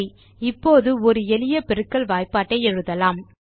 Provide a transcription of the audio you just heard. சரி இப்போது ஒரு எளிய பெருக்கல் வாய்ப்பாட்டை எழுதலாம்